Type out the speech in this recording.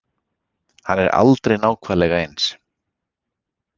Hann er aldrei nákvæmlega eins.